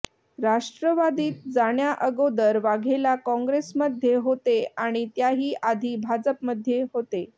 राष्ट्रवादीत जाण्याअगोदर वाघेला काँग्रेसमध्ये होते आणि त्याही आधी भाजपमध्ये होते